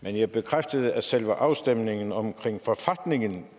men jeg bekræftede at selve afstemningen om forfatningen